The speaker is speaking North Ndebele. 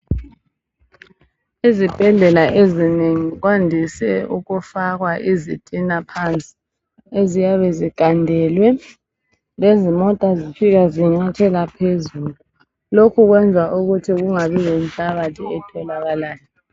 izibhedlela ezinengi kwandise ukufakwa izitina phansi eziyabe zigandelwe lezimota zifika zinyathela phezulu lokhu kwenza ukuthi kungabi lenhlabathi etholakalayo